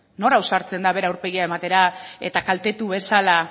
nor ausartzen da bere aurpegia ematera eta kaltetu bezala